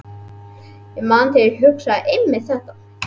Ég man að ég hugsaði einmitt þetta.